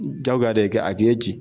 Jaguya de kɛ a kɛ ci.